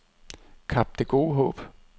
Kap Det Gode Håb